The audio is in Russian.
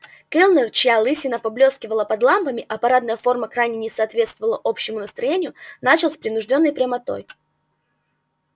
кэллнер чья лысина поблёскивала под лампами а парадная форма крайне не соответствовала общему настроению начал с принуждённой прямотой